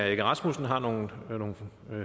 egge rasmussen har nogle